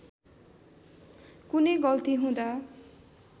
कुनै गल्ती हुँदा